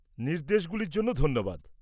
নির্দেশগুলির জন্য ধন্যবাদ।